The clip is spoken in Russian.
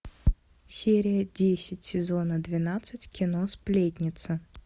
серия десять сезона двенадцать кино сплетница